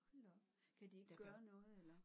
Hold da op. Kan de ikke gøre noget eller?